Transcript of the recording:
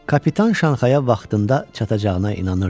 Kapitan Şanxaya vaxtında çatacağına inanırdı.